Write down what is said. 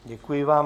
Děkuji vám.